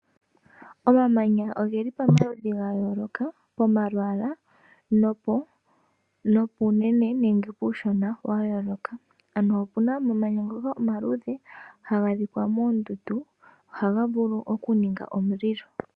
Omamanya ogeli pomaludhi ga yooloka pomalwala nopunene puushona ga yooloka opuna omamanya ngoka omaludhe haga adhika moondundu ohaga vulu okuninga omulilo.